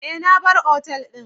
Eh na bar otal din.